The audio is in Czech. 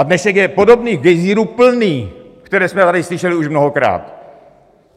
A dnešek je podobných gejzírů plný, které jsme tady slyšeli už mnohokrát.